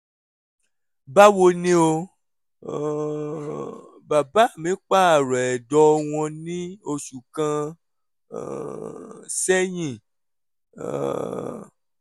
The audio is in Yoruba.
báwo ni o? um bàbá mi pààrọ̀ ẹ̀dọ̀ wọn ní oṣù kan um sẹ́yìn um